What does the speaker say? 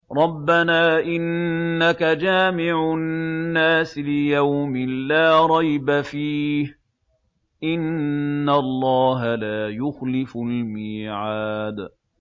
رَبَّنَا إِنَّكَ جَامِعُ النَّاسِ لِيَوْمٍ لَّا رَيْبَ فِيهِ ۚ إِنَّ اللَّهَ لَا يُخْلِفُ الْمِيعَادَ